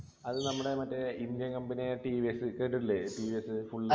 അത് നമ്മുടെ മറ്റേ indian company യായ ടി വി എസ് കേട്ടിട്ടില്ലേ ടി വി എസ full